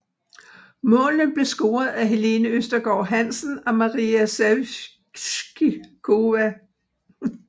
Målene blev scoret af Helene Østergaard Hansen og Maria Sevcikova